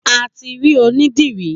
A ti rí onídìrí.